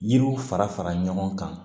Yiriw fara fara ɲɔgɔn kan